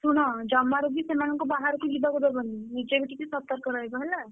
ଶୁଣ ଜମାରୁବି ସେମାନଙ୍କୁ ବାହାରକୁ ଯିବା କୁ ଦବନି, ନିଜେ ବି ଟିକେ ସତର୍କ ରହିବ ହେଲା।